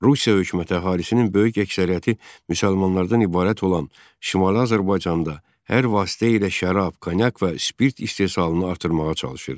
Rusiya hökuməti əhalisinin böyük əksəriyyəti müsəlmanlardan ibarət olan Şimali Azərbaycanda hər vasitə ilə şərab, konyak və spirt istehsalını artırmağa çalışırdı.